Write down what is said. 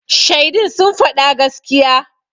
Shaidun sun faɗa gaskiya.